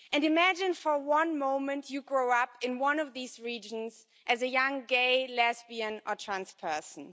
Imagine for one moment you are growing up in one of these regions as a young gay, lesbian or transperson.